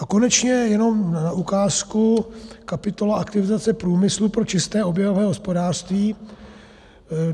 A konečně jenom na ukázku, kapitola Aktivizace průmyslu pro čisté oběhové hospodářství.